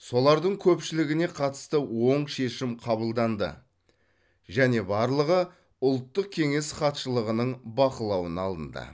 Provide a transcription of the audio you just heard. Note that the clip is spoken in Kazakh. солардың көпшілігіне қатысты оң шешім қабылданды және барлығы ұлттық кеңес хатшылығының бақылауына алынды